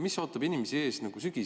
Mis ootab inimesi ees sügisel?